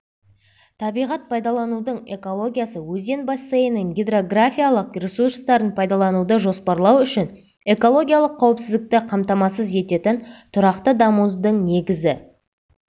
табиғат пайдаланудың экологиясы - өзен бассейнінің гидрографиялық ресурстарын пайдалануды жоспарлау үшін экологиялық қауіпсіздікті қамтамасыз ететін тұрақты дамудың негізі